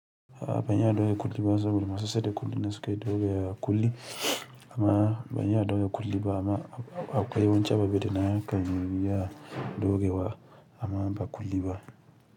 Abanye adogwe kuli ba sabulu ma sasede kuli na suka ɗaura kuli. Amma ban iya ɗaura kuli ba. Amma akwai wasu ababe da na iya ɗaurawa amma ba kuli ba.